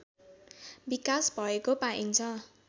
विकास भएको पाइन्छ